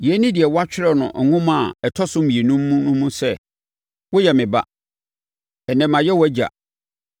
Yei ne deɛ wɔatwerɛ wɔ Nnwom a ɛtɔ so mmienu mu no sɛ, “ ‘Woyɛ me ba; ɛnnɛ, mayɛ wʼAgya.’